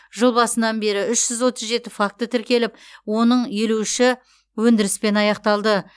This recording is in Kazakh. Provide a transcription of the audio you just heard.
жыл басынан бері үш жүз отыз жеті факті тіркеліп оның елу үші өндіріспен аяқталды